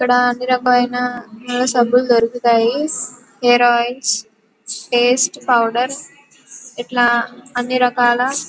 ఇక్కడ అన్ని రకమైన సబ్బులు దొరుకుతాయి హెయిరోయిల్స్ పేస్ట్ పౌడర్స్ ఇట్లా అన్ని రకాల--